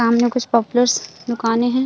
सामने कुछ पॉपूलर्स दुकाने है।